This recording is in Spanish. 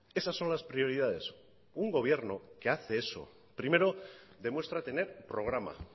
esas son las prioridades un gobierno que hace eso primero demuestra tener programa